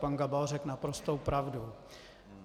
Pan Gabal řekl naprostou pravdu.